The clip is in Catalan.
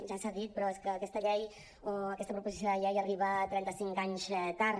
ja s’ha dit però és que aquesta llei o aquesta proposició de llei arriba trenta cinc anys tard